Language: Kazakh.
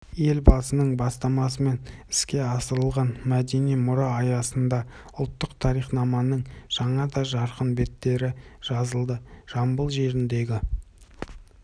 елбасының бастамасымен іске асырылған мәдени мұра аясында ұлттық тарихнаманың жаңа да жарқын беттері жазылды жамбыл жеріндегі